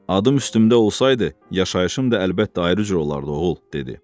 Adım üstümdə olsaydı, yaşayışım da əlbəttə ayrı cür olardı, oğul, dedi.